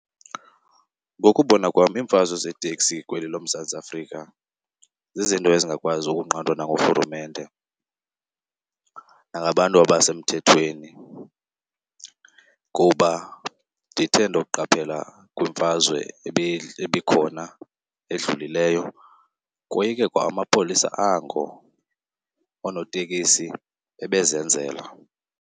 Ngokubona kwam iimfazwe zeeteksi kweli loMzantsi Afrika zizinto ezingakwazi ukunqandwa nanguRhulumente nangabantu abasemthethweni. Kuba ndithe ndokuqaphela kwimfazwe ebikhona edlulileyo koyike kwa amapolisa ango, oonotekisi bebezenzela.